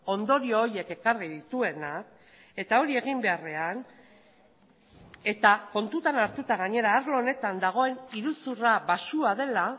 ondorio horiek ekarri dituena eta hori egin beharrean eta kontutan hartuta gainera arlo honetan dagoen iruzurra baxua dela